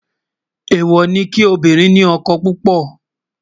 èwo ní obirin ní ókó púpò